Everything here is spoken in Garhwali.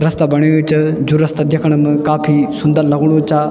रस्ता बणयूं च जू रस्ता दैखण म काफी सुन्दर लगणु चा।